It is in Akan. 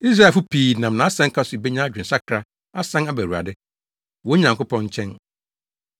Israelfo pii nam nʼasɛnka so benya adwensakra asan aba Awurade, wɔn Nyankopɔn, nkyɛn.